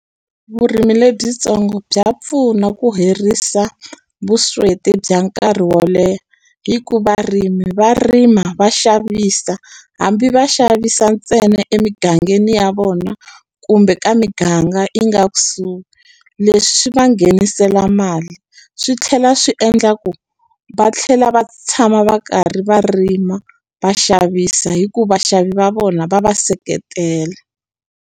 Vurimi lebyitsongo bya pfuna ku herisa vusweti bya nkarhi wo leha hi ku varimi va rima va xavisa hambi va xavisa ntsena emigangeni ya vona kumbe ka miganga yi nga kusuhi leswi va nghenisela mali swi tlhela swi endla ku va tlhela va tshama va karhi va rima va xavisa hi ku vaxavi va vona va va seketela.